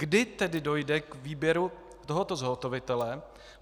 Kdy tedy dojde k výběru tohoto zhotovitele?